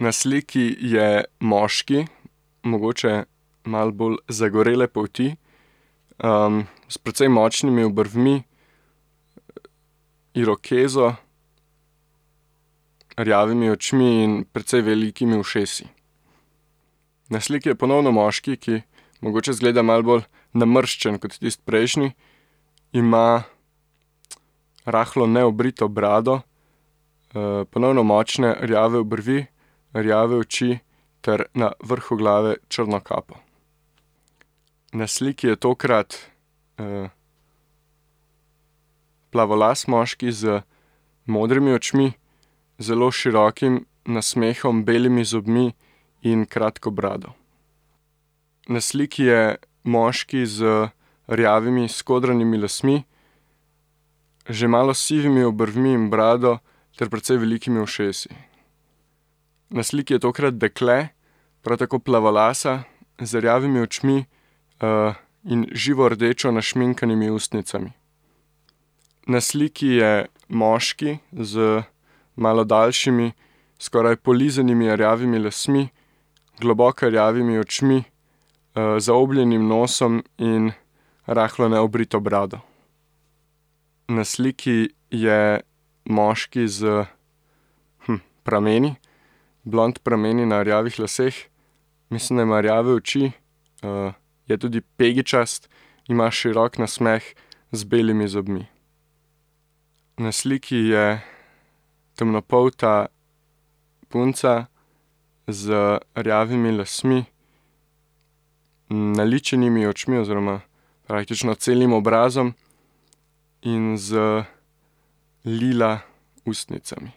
Na sliki je moški, mogoče malo bolj zagorele polti. s precej močnimi obrvmi, irokezo, rjavimi očmi in precej velikimi ušesi. Na sliki je ponovno moški, ki mogoče izgleda malo bolj namrščen kot tisti prejšnji, ima rahlo neobrito brado, ponovno močne, rjave obrvi, rjave oči ter na vrhu glave črno kapo. Na sliki je tokrat, plavolas moški z modrimi očmi, zelo širokim nasmehom, belimi zobmi in kratko brado. Na sliki je moški z rjavimi skodranimi lasmi, že malo sivimi obrvmi in brado ter precej velikimi ušesi. Na sliki je tokrat dekle, prav tako plavolasa, z rjavimi očmi, in živo rdečo našminkanimi ustnicami. Na sliki je moški, z malo daljšimi, skoraj polizanimi rjavimi lasmi, globoko rjavimi očmi, zaobljenim nosom in rahlo neobrito brado. Na sliki je moški s, prameni. Blond prameni na rjavih laseh, mislim, da ima rjave oči, je tudi pegičast, ima širok nasmeh z belimi zobmi. Na sliki je temnopolta punca z rjavimi lasmi, naličenimi očmi oziroma praktično celim obrazom. In z lila ustnicami.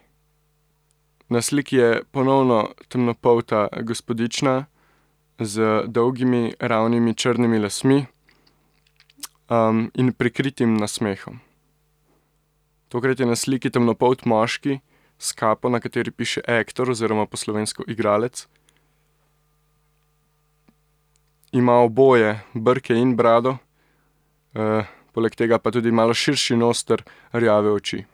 Na sliki je ponovno temnopolta gospodična, z dolgimi ravnimi črnimi lasmi, in prikritim nasmehom. Tokrat je na sliki temnopolt moški s kapo, na kateri piše actor oziroma po slovensko igralec. Ima oboje, brke in brado, poleg tega pa tudi malo širši nos ter rjave oči.